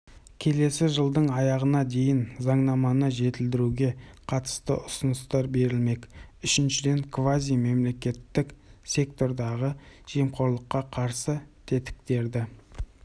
келесі жылдың аяғына дейін заңнаманы жетілдіруге қатысты ұсыныстар берілмек үшіншіден квазимемлекеттік сектордағы жемқорлыққа қарсы тетіктерді